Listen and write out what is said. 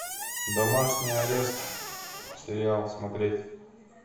домашний арест сериал смотреть